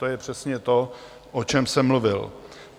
To je přesně to, o čem jsem mluvil.